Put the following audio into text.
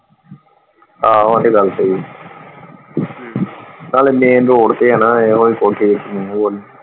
ਆਹੋ ਉਹ ਤੇ ਗੱਲ ਸਹੀ, ਹਮ ਨਾਲੇ ਮੇਨ ਰੋਡ ਤੇ ਆਣਾ ਇਹੋ ਹੀ .